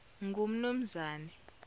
ngumnumzane